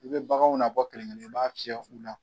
U bɛ baganw na bɔ kelenkelen i b'a fiɲɛ u na.